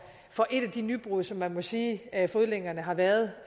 for et af de nybrud som man må sige at fodlænkerne har været